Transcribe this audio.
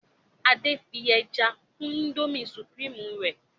Ade fí ẹja kún Indomie supreme rẹ